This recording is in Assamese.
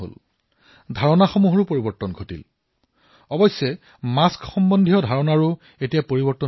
ঠিক সেইদৰে মাস্কক লৈও এতিয়া ধাৰণা পৰিৱৰ্তিত হব